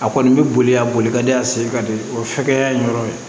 A kɔni bɛ boli a boli ka di a sen ka di o hakɛya in yɔrɔ